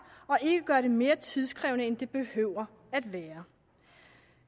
og ikke gøre det mere tidskrævende end det behøver at være